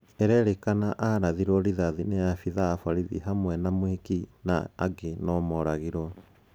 irerikana arathirwe rithathi nĩ afidhaa a borithi hamwe na mwĩki na ange no nimoragirwe